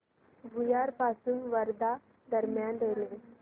भुयार पासून वर्धा दरम्यान रेल्वे